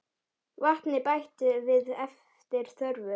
Vatni bætt við eftir þörfum.